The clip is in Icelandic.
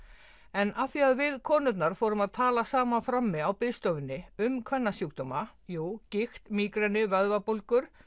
en af því að við konurnar fórum að tala saman frammi á biðstofunni um kvennasjúkdóma gigt mígreni vöðvabólgur